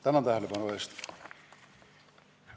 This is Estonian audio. Tänan tähelepanu eest!